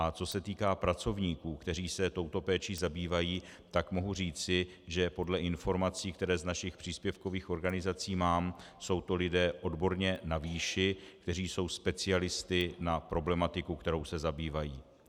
A co se týká pracovníků, kteří se touto péčí zabývají, tak mohu říci, že podle informací, které z našich příspěvkových organizací mám, jsou to lidé odborně na výši, kteří jsou specialisty na problematiku, kterou se zabývají.